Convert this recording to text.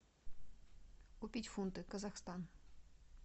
купить фунты казахстан